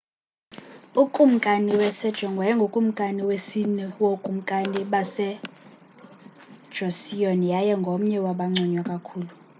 ukumkani sejong wayengukumkani wesine wobukumkani bamjoseon yaye ngomnye wabanconywa kakhulu